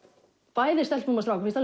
bæði stelpum og strákum finnst